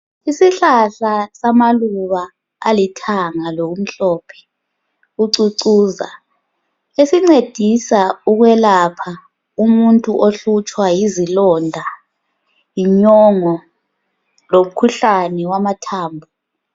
Isihlahla samaluba alithanga lomhlophe, ucucuza esincedisa ukwelapha umuntu ohlutshwa yizilonda, inyongo lomkhuhlane wamathambo.